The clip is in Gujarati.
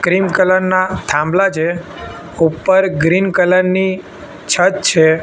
ક્રીમ કલર ના થાંભલા છે ઉપર ગ્રીન કલર ની છત છે.